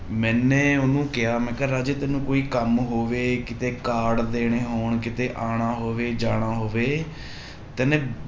ਮੈਨੇ ਉਹਨੂੰ ਕਿਹਾ ਮੈਂ ਕਿਹਾ ਰਾਜੇ ਤੈਨੂੰ ਕੋਈ ਕੰਮ ਹੋਵੇ ਕਿਤੇ ਕਾਰਡ ਦੇਣੇ ਹੋਣ ਕਿਤੇ ਆਉਣਾ ਹੋਵੇ ਜਾਣਾ ਹੋਵੇ ਤੈਨੇ